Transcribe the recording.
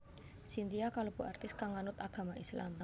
Cynthia kalebu artis kang nganut agama Islam